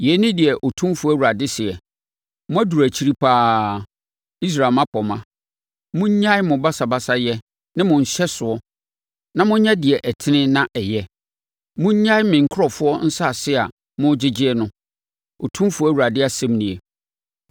“ ‘Yei ne deɛ Otumfoɔ Awurade seɛ: Moaduru akyiri pa ara, Israel mmapɔmma! Monnyae mo basabasayɛ ne mo nhyɛsoɔ na monyɛ deɛ ɛtene na ɛyɛ. Monnyae me nkurɔfoɔ nsase a mogyegyeɛ no, Otumfoɔ Awurade asɛm nie.